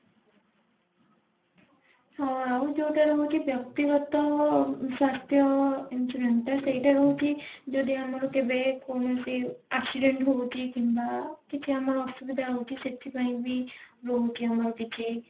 ହଁ ଆଉ ଯୋଉଟା ରହୁଛି ବ୍ୟକ୍ତି ଗତ ସ୍ୱାସ୍ଥ୍ୟ insurance ଟା ସେଇଟା ରହୁଛି ଯଦି ଆମର କେବେ କୌଣସି accident ହୋଉଛି କିମ୍ବା କିଛି ଆମର ଅସୁବିଧା ହୋଉଛି ସେଥିପାଇଁ ବି ରହୁଛି ଆମର କିଛି